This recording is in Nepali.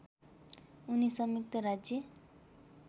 उनी संयुक्त राज्य